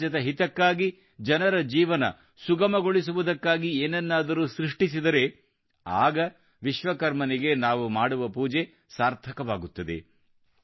ಸಮಾಜದ ಹಿತಕ್ಕಾಗಿ ಜನರ ಜೀವನ ಸುಗಮಗೊಳಿಸುವುದಕ್ಕಾಗಿ ಏನನ್ನಾದರೂ ಸೃಷ್ಟಿಸಿದರೆ ಆಗ ವಿಶ್ವಕರ್ಮನಿಗೆ ನಾವು ಮಾಡುವ ಪೂಜೆ ಸಾರ್ಥಕವಾಗುತ್ತದೆ